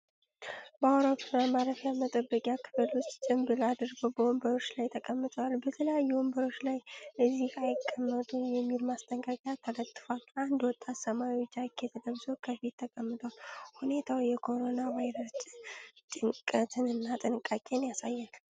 በአውሮፕላን ማረፊያ መጠበቂያ ክፍል ሰዎች ጭንብል አድርገው በወንበሮች ላይ ተቀምጠዋል። በተለያዩ ወንበሮች ላይ "እዚህ አይቀመጡ" የሚል ማስጠንቀቂያ ተለጥፏል። አንድ ወጣት ሰማያዊ ጃኬት ለብሶ ከፊት ተቀምጧል። ሁኔታው የኮሮና ቫይረስ ጭንቀትንና ጥንቃቄን ያሳያል።